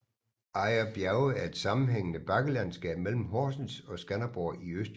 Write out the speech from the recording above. Ejer Bjerge er et sammenhængende bakkelandskab mellem Horsens og Skanderborg i Østjylland